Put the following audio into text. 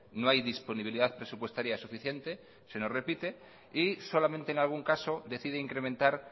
no hay disponibilidad presupuestaria suficiente se nos repite y solamente en algún caso decide incrementar